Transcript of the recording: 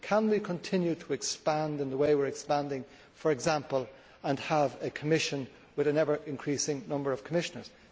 Can we continue to expand in the way we are expanding, for example, and have a Commission with an ever increasing number of Commissioners?